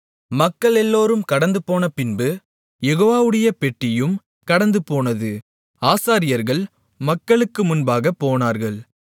மக்களெல்லோரும் கடந்துபோனபின்பு யெகோவாவுடைய பெட்டியும் கடந்துபோனது ஆசாரியர்கள் மக்களுக்கு முன்பாகப் போனார்கள்